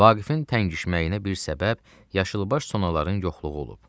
Vaqifin təngişməyinə bir səbəb yaşılbaş sonaların yoxluğu olub.